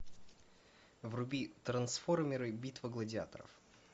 вруби трансформеры битва гладиаторов